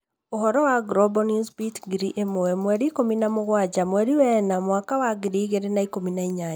Ũhoro wa Global Newsbeat ngiri ĩmwe 17/04/2018